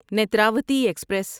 Netravati express